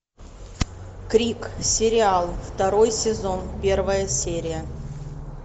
крик сериал второй сезон первая серия